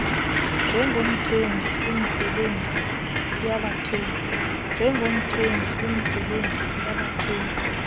njengomthengi kwimisebenzi yabathengi